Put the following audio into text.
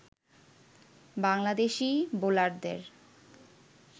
বাংলাদেশী বোলারদের